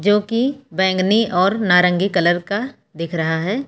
जो की बैंगनी और नारंगी कलर का दिख रहा है।